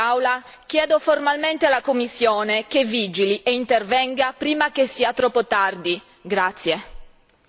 Per questo, oggi, in quest'Aula, chiedo formalmente alla Commissione che vigili e intervenga prima che sia troppo tardi!